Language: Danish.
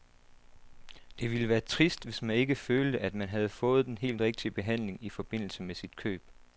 Det ville være trist, hvis man ikke følte, at man havde fået den helt rigtige behandling i forbindelse med sit køb.